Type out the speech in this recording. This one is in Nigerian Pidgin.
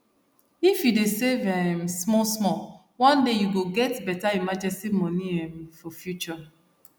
if you dey save um small small one day you go get better emergency money um for future